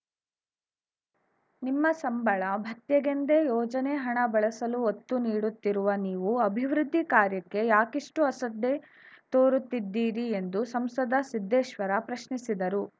ನಿಮ್ಮ ಸಂಬಳ ಭತ್ಯೆಗೆಂದೇ ಯೋಜನೆ ಹಣ ಬಳಸಲು ಒತ್ತು ನೀಡುತ್ತಿರುವ ನೀವು ಅಭಿವೃದ್ಧಿ ಕಾರ್ಯಕ್ಕೆ ಯಾಕಿಷ್ಟುಅಸಡ್ಡೆ ತೋರುತ್ತಿದ್ದೀರಿ ಎಂದು ಸಂಸದ ಸಿದ್ದೇಶ್ವರ ಪ್ರಶ್ನಿಸಿದರು